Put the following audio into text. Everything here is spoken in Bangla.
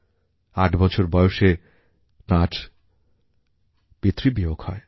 আট বছর বয়সে তাঁর পিতৃবিয়োগ হয়